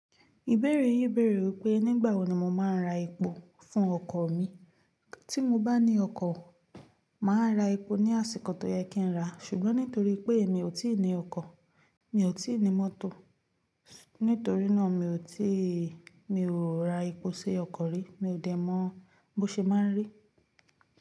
Ìbéèrè yín bèrè wí pé nígbà wo ni mo máa ra epo fún ọkọ̀ mi. Tí mo bá ní ọkọ̀, màá ra epo ní àsìkò tó yẹ kí n rà. Ṣùgbọ́n nítorí pé mi ò tí ì ní ọkọ̀, mi ò tí ì ní mọ́tò, nítorí náà mi ò tí ì, mi ò ra epo sì ọkọ̀ rí. Mi ò dẹ̀ mọ bó ṣe máa ń rí.